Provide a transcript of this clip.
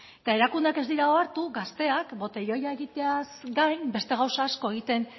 eta erakundeak ez dira ohartu gazteak botelloia egiteaz gain beste gauza asko egiten